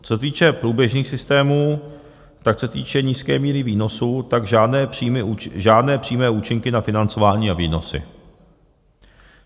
Co se týče průběžných systémů, tak co se týče nízké míry výnosů, tak žádné přímé účinky na financování a výnosy.